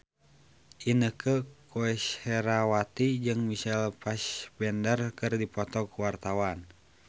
Inneke Koesherawati jeung Michael Fassbender keur dipoto ku wartawan